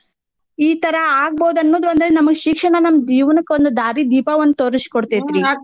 ಈ ತರಾ ಆಗ್ಬೋದ್ ಅನ್ನೋದ್ ಒಂದ್ ನಮ್ಗ್ ಶಿಕ್ಷಣ ಜೀವ್ನಕ್ ಒಂದ್ ದಾರಿ ದೀಪಾ ಒಂದ್ ತೋರ್ಸಿ ಕೊಡ್ತೇತ್ರೀ .